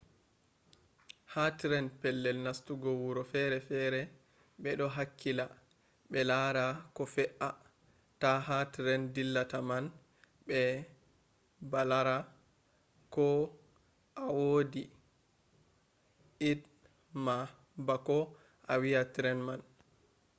ha tren pellel nastugo wuro fere fere ɓe ɗo hakkila ɓe laara ko fe’a ta ha tren dillata man ɓe balara ko a wodi i.d ma bako a wa’a tren man